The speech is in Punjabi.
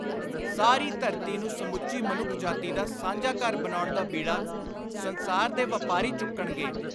ਸਾਰੀ ਧਰਤੀ ਨੂੰ ਸਮੁੱਚੀ ਮਨੁੱਖ ਜਾਤੀ ਦਾ ਸਾਂਝਾ ਘਰ ਬਣਾਉਣ ਦਾ ਬੀੜਾ ਸੰਸਾਰ ਦੇ ਵਾਪਾਰੀ ਚੁੱਕਣਗੇ,